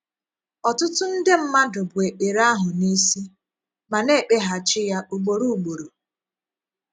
Ọtụtụ ndè mmadụ bu ekpèrè ahụ n’ìsì, ma na - ekpeghachi ya ugboro ugboro.